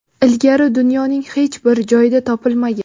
ilgari dunyoning hech bir joyida topilmagan.